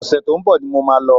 Ọ̀sẹ̀ tó ń bọ̀ ni mo máa lọ